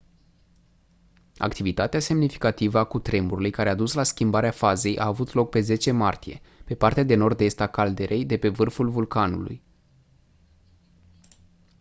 activitatea semnificativă a cutremurului care a dus la schimbarea fazei a avut loc pe 10 martie pe partea de nord-est a caldeirei de pe vârful vulcanului